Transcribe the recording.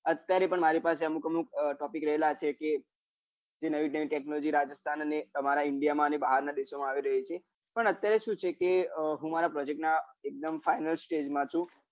અત્યારે પણ મારી પાસે અમુક અમુક topic રહેલા છે કે જે નવી નવી tecnology રાજેસ્થાન અને તમારા ઇન્ડિયા માં અને બહાર ના દેશો માં આવેલા છે પણ અત્યારે શું છે કે હું મારા project ના એક દમ final stage માં છુ